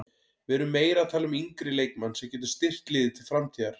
Við erum meira að tala um yngri leikmann sem getur styrkt liðið til framtíðar.